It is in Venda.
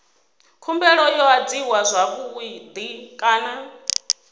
khumbelo yo adziwa zwavhui kana